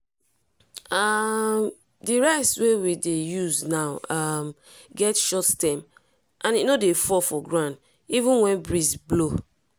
um the rice wey we dey use now um get short stem and e no dey fall for ground even when breeze blow.